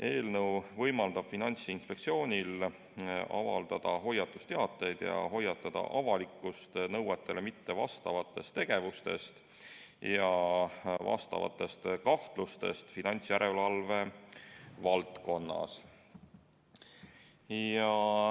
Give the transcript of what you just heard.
Eelnõu võimaldab Finantsinspektsioonil avaldada hoiatusteateid ja hoiatada avalikkust nõuetele mittevastavatest tegevustest ja sellekohastest kahtlustest finantsjärelevalve valdkonnas.